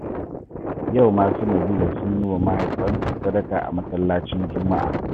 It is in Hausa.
Yau ma su Nabila sun yi wa mahaifansu sadaka a masallacin juma'a